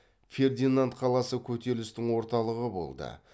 фердинанд қаласы көтерілісітің орталығы болды